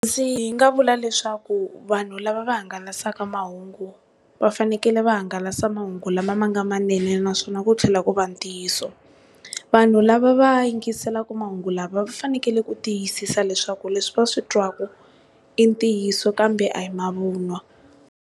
Ndzi nga vula leswaku vanhu lava va hangalasaka mahungu va fanekele va hangalasa mahungu lama ma nga manene naswona ku tlhela ku va ntiyiso. Vanhu lava va yingiselaka mahungu lava va fanekele ku tiyisisa leswaku leswi va swi twaku i ntiyiso kambe a hi mavun'wa.